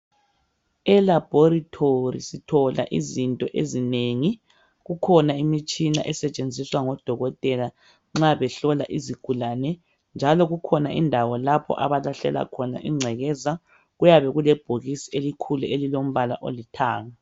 Elaboratory sithola izinto ezinengi kukhona imitshina esetshenziswa ngudokotela nxa behlola izigulane njalo kukhona indawo lapho abalahlela khona ingcekeza kuyabe kulebhokisi elikhulu elilombala olithanga